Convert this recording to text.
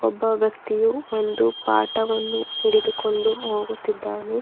ಒಬ್ಬ ವ್ಯಕ್ತಿಯು ಒಂದು ಪಾಟವನ್ನು ಹಿಡಿದುಕೊಂಡು ಹೋಗುತ್ತಿದ್ದಾನೆ.